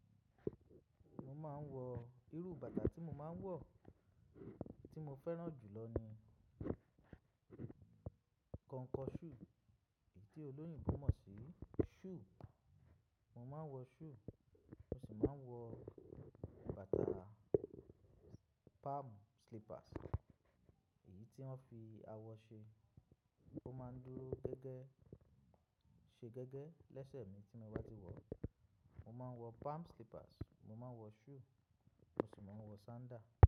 Mo máa ń wọ irú bàtà tí mo máa ń wọ̀. Tí mo fẹ́ràn jù lọ ni kọnkọ ṣúù, èyí tí olóyìnbo mo sí, ṣúù. Mo máa ń wọ ṣúù, mo sì máa ń wọ bàtà palm slippers. Èyí tí wọ́n fi awọ ṣe, ó máa ń dúró gẹ́gẹ́, ṣe gẹ́gẹ́ lẹ́sẹ̀ mi tí mo bá ti wọ̀. Mo máa ń wọ palm slippers, mo máa ń wọ ṣúù, mo sì máa ń wọ sandá.